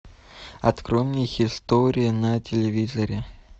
открой мне хистори на телевизоре